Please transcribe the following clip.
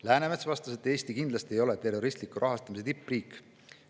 Läänemets vastas, et Eesti ei ole kindlasti terroristliku rahastamise tippriik.